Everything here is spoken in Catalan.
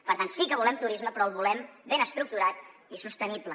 per tant sí que volem turisme però el volem ben estructurat i sostenible